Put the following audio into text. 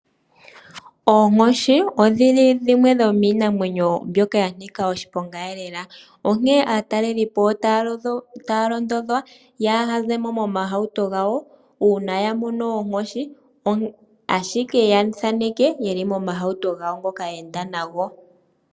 Oonkoshi odhili dhimwe dhomiinamwenyo ndjoka yanika oshiponga lela, onkene aatalelipo otaalondodhwa yaahazemo momahauto gawo uuna yamono oonkoshi, ashike na ya thaaneka ye li momahauto gawo ngoka yeenda nago.